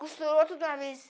Costurou tudo de uma vez.